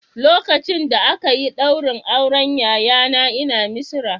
Lokacin da aka yi ɗaurin auren yayana ina Misira